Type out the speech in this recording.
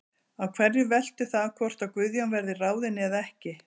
Á hverju veltur það hvort að Guðjón verði ráðinn eða ekki?